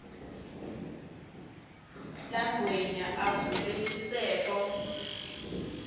langwenya avule sisefo